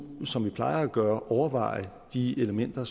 som vi plejer at gøre overveje de elementer